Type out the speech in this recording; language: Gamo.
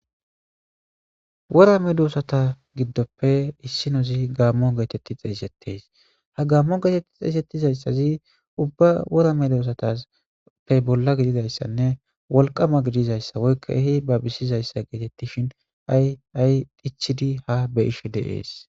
wora medosata giddoppe issinozi gaammo geetetti xeeysettes ha gaammo geetetti xeesettizayssazi ubba worame duosatappe bolla gididayssanne wolqama gidizayssa woykka ehi babisizayssa geetettishin ayay ichid ha be'ish de'es.